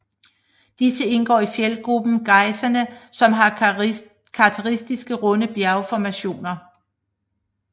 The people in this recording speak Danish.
Disse indgår i fjeldgruppen Gaissene som har karakteristiske runde bjergformationer